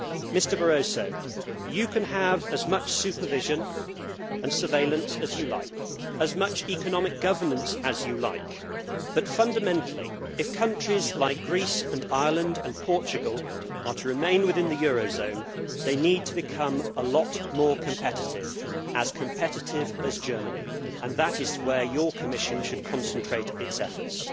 Mr Barroso, you can have as much supervision and surveillance as you like, as much economic governance as you like, but fundamentally, if countries like Greece and Ireland and Portugal are to remain within the eurozone, they need to become a lot more competitive, as competitive as Germany, and that is where your Commission should concentrate its efforts.